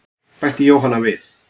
Bætti Jóhanna við.